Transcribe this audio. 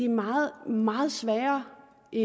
meget meget sværere i